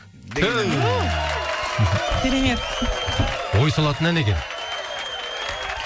түф керемет ой салатын ән екен